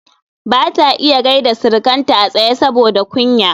bata iya gyaida Sirikanta a tsaye saboda kunya